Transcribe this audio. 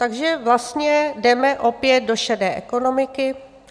Takže vlastně jdeme opět do šedé ekonomiky.